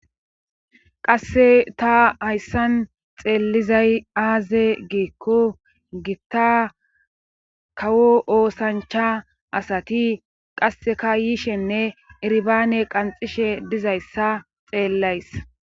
Qasse ta hayssan xeelizay aaze giikko gitta kawo oosanchcha asati qassekka yishenne irbaane qanxishe dizayssa xeellays